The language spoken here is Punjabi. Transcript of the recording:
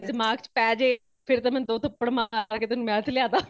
ਦਿਮਾਗ਼ ਚ ਪੇ ਜਾਏ ਫੇਰ ਤੇ ਤੈਨੂੰ ਦੋ ਥੱਪੜ ਮਾਰ ਕੇ math ਲਿਆ ਦਵਾ